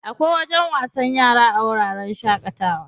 Akwai wajen wasan yara a wuraren shaƙatawa.